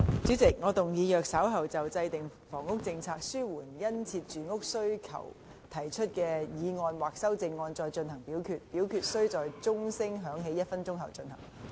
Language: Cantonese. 主席，我動議若稍後就"制訂房屋政策紓緩殷切住屋需求"所提出的議案或修正案再進行點名表決，表決須在鐘聲響起1分鐘後進行。